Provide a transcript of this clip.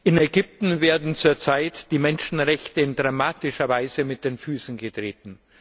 In Ägypten werden zurzeit die Menschenrechte in dramatischer Weise mit Füßen getreten.